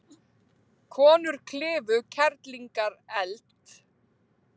Konur klifu Kerlingareld